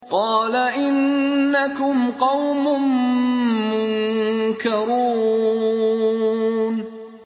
قَالَ إِنَّكُمْ قَوْمٌ مُّنكَرُونَ